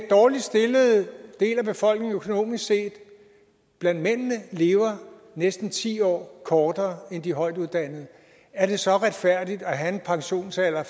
dårligst stillede del af befolkningen blandt mændene lever næsten ti år kortere end de højtuddannede er det så retfærdigt at have en pensionsalder